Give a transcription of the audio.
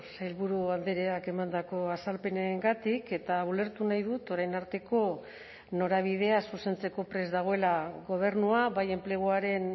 sailburu andreak emandako azalpenengatik eta ulertu nahi dut orain arteko norabidea zuzentzeko prest dagoela gobernua bai enpleguaren